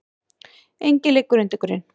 Enginn liggur undir grun